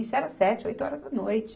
Isso era sete, oito horas da noite.